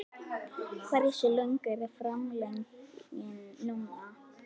Hversu löng er framlengingin núna?